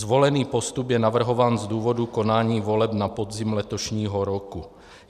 Zvolený postup je navrhován z důvodu konání voleb na podzim letošního roku.